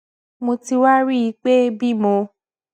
mo ti wá rí i pé bí mo